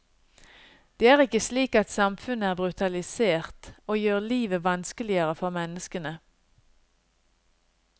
Det er ikke slik at samfunnet er brutalisert, og gjør livet vanskeligere for menneskene.